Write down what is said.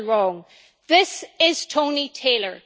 is still wrong. This is Tony Taylor.